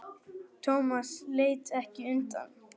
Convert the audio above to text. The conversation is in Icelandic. Thomas leit ekki undan.